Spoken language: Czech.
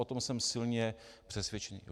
O tom jsem silně přesvědčen.